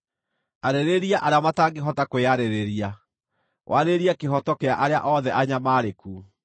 “Arĩrĩria arĩa matangĩhota kwĩyarĩrĩria, warĩrĩrie kĩhooto kĩa arĩa othe anyamaarĩku.